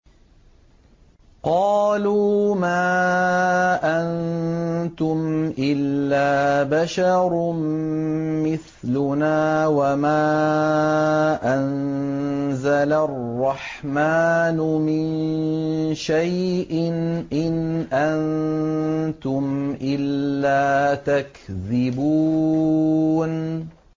قَالُوا مَا أَنتُمْ إِلَّا بَشَرٌ مِّثْلُنَا وَمَا أَنزَلَ الرَّحْمَٰنُ مِن شَيْءٍ إِنْ أَنتُمْ إِلَّا تَكْذِبُونَ